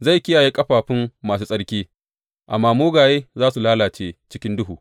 Zai kiyaye ƙafafun masu tsarki, amma mugaye za su lalace cikin duhu.